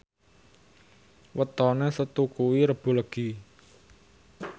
wetone Setu kuwi Rebo Legi